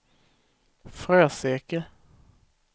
Fröseke